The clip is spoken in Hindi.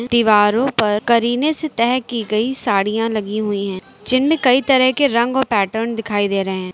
दीवारों पर करीने से तह कि गई साड़ियां लगी हुई हैं जिनमें कई तरह के रंग और पैटर्न दिखाई दे रहे हैं।